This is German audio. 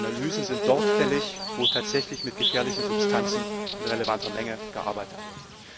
Analysen sind dort fällig, wo tatsächlich mit gefährlichen Substanzen in relevanter Menge gearbeitet wird.